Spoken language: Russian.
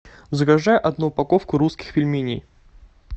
закажи одну упаковку русских пельменей